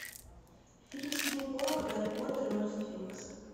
фильм сидни поллака гарри поттер и орден феникса